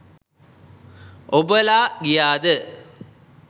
ඔබලා ගියාද?